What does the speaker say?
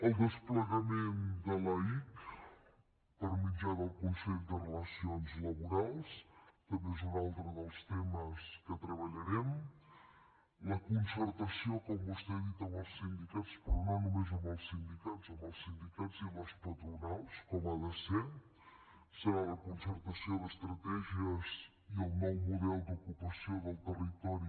el desplegament de l’aic per mitjà del consell de relacions laborals també és un altre dels temes que treballarem la concertació com vostè ha dit amb els sindicats però no només amb els sindicats amb els sindicats i les patronals com ha de ser serà la concertació d’estratègies i el nou model d’ocupació del territori